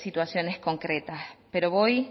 situaciones concretas pero voy